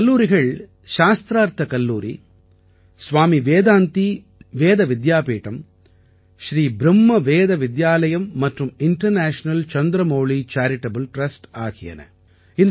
இந்தக் கல்லூரிகள் சாஸ்த்ரார்த்த கல்லூரி ஸ்வாமி வேதாந்தி வேத வித்யாபீடம் ஸ்ரீ ப்ரும்ம வேத வித்யாலயம் மற்றும் இண்டர்நேஷனல் சந்திரமௌலி சேரிடபிள் ட்ரஸ்ட் ஆகியன